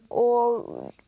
og